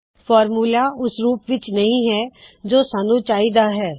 formula ਓਸ ਰੂਪ ਵਿੱਚ ਨਹੀ ਹੈ ਜੋ ਸਾੱਨੂ ਚਾਹੀ ਦਾ ਹੈ